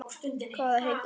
Hvað heitir húsið?